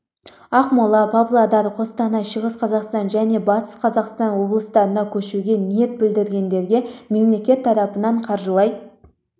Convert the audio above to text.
ақмола павлодар қостанай шығыс қазақстан және батыс қазақстан облыстарына көшуге ниет білдіргендерге мемлекет тарапынан қаржылай